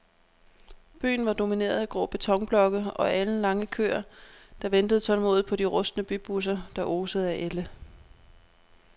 Byen var domineret af grå betonblokke og alenlange køer, der ventede tålmodigt på de rustne bybusser, der osede af ælde.